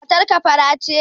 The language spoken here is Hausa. Matar ka fara ce?